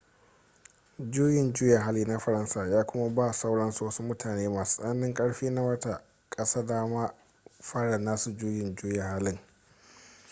juyin juya hali na faransa ya kuma ba sauran wasu mutane masu tsananin karfi na wata ƙasa damar fara nasu juyin juya halin